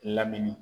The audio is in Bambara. Lamini